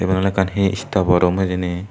iyen ekkan he stapo room hijeni.